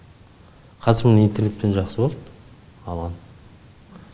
қазір міне интернетпен жақсы болды алған